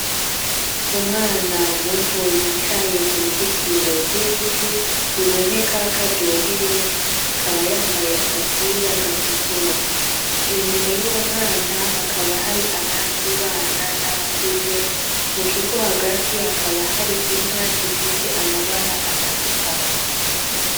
Umwana muto yicaye ku ruzitiro rw'ibiti biboneka karyohewe akaba yambaye agapira gatukura inyuma y'uwo mwanta hakaba hari abandi bana n'abakuze mu kigo hagati hakaba hari inka zifise amabara atandukanye.